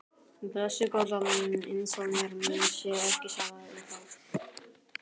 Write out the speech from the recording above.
Blessuð góða. eins og mér sé ekki sama um það!